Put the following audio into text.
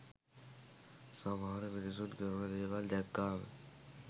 සමහර මිනිසුන් කරන දේවල් දැක්කාම